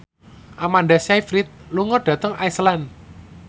Amanda Sayfried lunga dhateng Iceland